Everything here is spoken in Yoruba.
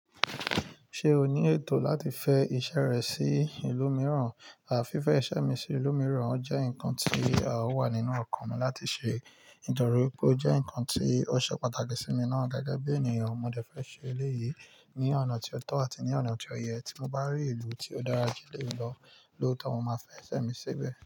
Ṣé o ní ètò láti fẹ iṣẹ́ rẹ sí ìlú mìíràn? À fi fẹ iṣẹ́ mi sí ìlú mìíràn, ó jẹ́ nǹkan tí a o wà nínú ọkàn mi láti ṣe. Nítorí pé ó jẹ́ ǹkan tí ó ṣe pàtàkì sí mi ná. Gẹ́gẹ́ bí ènìyàn, mo dẹ fẹ ṣe eléyìí ní ọ̀nà tí ó tọ́ àti ní ọ̀nà tí ó yẹ. Tí mo bá rí ìlú tí ó dára kí n lè lọ, lóòótọ́ mo máa fẹ iṣẹ́ mi ṣébẹ̀